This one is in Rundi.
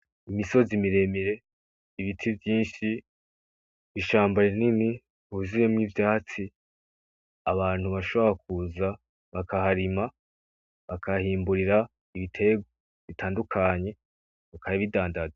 Imisozi miremire, ibiti vyinshi, ishamba rinini huzuyemwo ivyatsi, abantu bashobora kuza bakaharima bakahimbura ibiterwa bitandukanye bakabidandaza.